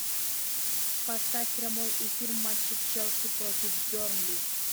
поставь прямой эфир матча челси против бернли